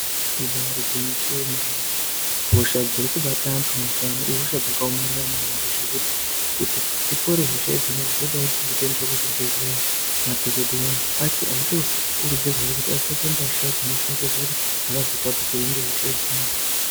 Ibari gwinyiso yomene hosha dzirikubata antu mazuwano ihosha dzakaomarara maningi zvekuti kuti dzipore hosha idzona dzinode kuti dzitoenderwe kuzvibhedhlera madhokodheya acho achitokurudzirwe kuti apfeke mbasha dzinoshongedze kuti asazotapukirwa ngehosha idzona.